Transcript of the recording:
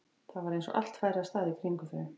Það var eins og allt færi af stað í kringum þau.